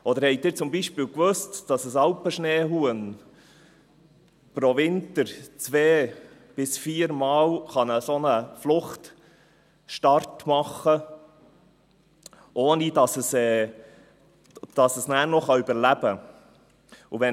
Oder haben Sie zum Beispiel gewusst, dass ein Alpenschneehuhn pro Winter nur zwei- bis viermal einen Fluchtstart machen und überleben kann?